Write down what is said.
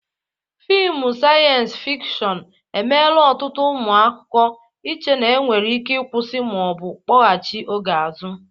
Fịmụ saịyens fikshọn emela ọtụtụ ụmụaka iche na e nwere ike ịkwụsị ma ọ bụ kpọgachị oge azụ.